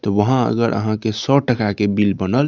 ते वहां अगर आहाँ के सो टका के बिल बनल --